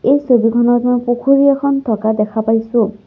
এই ছবিখনত মই পুখুৰী এখন থকা দেখা পাইছোঁ।